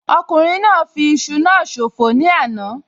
Ọkùnrin náà fi iṣu náà ṣòfò ní àná